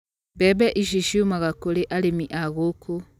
Mbembe ici ciumaga kũrĩ arĩmi a gũku.